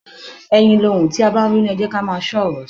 Ẹyin lohùn, tí a bá ń bínú, ẹ jẹ́ kí á máa ṣọ́ ọ̀rọ̀ sọ.